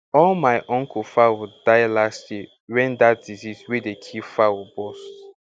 all my uncle fowl die last year when that disease wey dey kill fowl bust